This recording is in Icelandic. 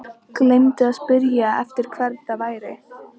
Gleymdi að spyrja eftir hvern það væri.